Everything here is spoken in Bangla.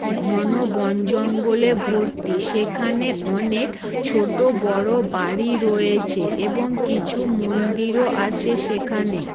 ঘন বন জঙ্গলে ভর্তি সেখানে অনেক ছোট বড় বাড়ি রয়েছে এবং কিছু মন্দিরও আছে সেখানে ।